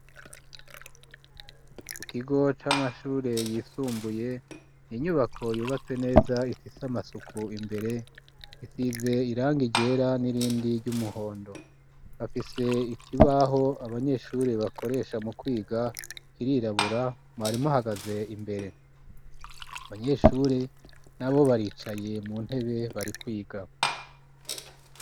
Ku kigo c'amashure yisumbuye inyubako yubatse neza ifise amasuku imbere isize irangi ryera n'irindi ry'umuhondo bafise ikibaho abanyeshure bakoresha mu kwiga cirirabura umwarimu ahagaze imbere abanyeshure n'abo baricaye mu ntebe bari kwiga.